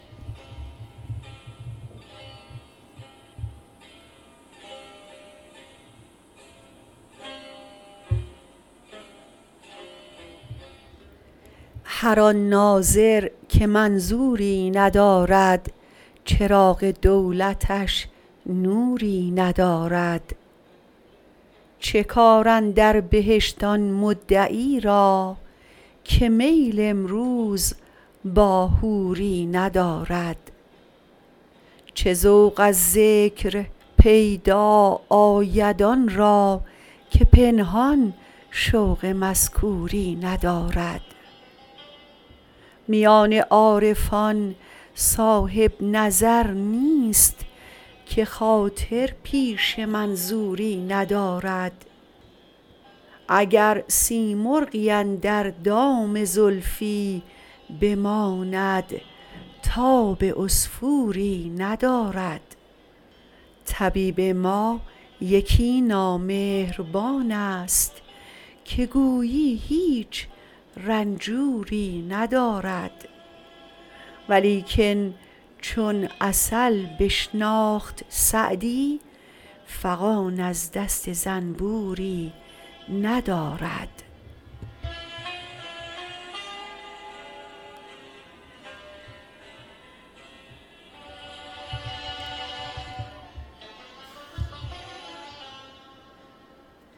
هر آن ناظر که منظوری ندارد چراغ دولتش نوری ندارد چه کار اندر بهشت آن مدعی را که میل امروز با حوری ندارد چه ذوق از ذکر پیدا آید آن را که پنهان شوق مذکوری ندارد میان عارفان صاحب نظر نیست که خاطر پیش منظوری ندارد اگر سیمرغی اندر دام زلفی بماند تاب عصفوری ندارد طبیب ما یکی نامهربان ست که گویی هیچ رنجوری ندارد ولیکن چون عسل بشناخت سعدی فغان از دست زنبوری ندارد